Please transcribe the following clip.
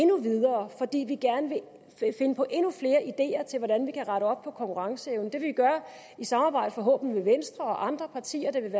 nu videre fordi vi gerne vil finde på endnu flere ideer til hvordan vi kan rette op på konkurrenceevnen det vil vi gøre i samarbejde forhåbentlig med venstre og andre partier der vil